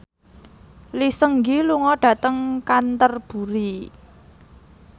Lee Seung Gi lunga dhateng Canterbury